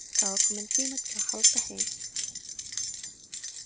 Það var kominn tími til að halda heim.